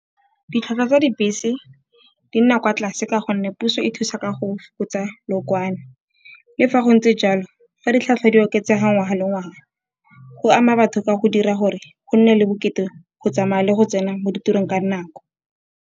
Ditlhwatlhwa tsa dibese di nna kwa tlase ka gonne puso e thusa ka go fokotsa lookwane. Le fa go ntse jalo fa ditlhwatlhwa di oketsega ngwaga le ngwaga, go ama batho ka go dira gore go nne le bokete go tsamaya le go tsena mo ditirong ka dinako.